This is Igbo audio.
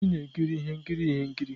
Anyị na-ekiri ihe nkiri ihe nkiri.